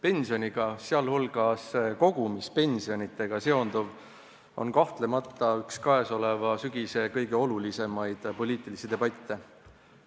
Pensionitega, sh kogumispensionitega seonduv on kahtlemata üks selle sügise kõige olulisemaid poliitilisi debatte.